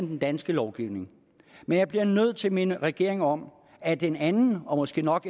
den danske lovgivning men jeg bliver nødt til at minde regeringen om at en anden og måske nok